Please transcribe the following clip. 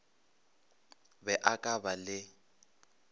be a ka ba le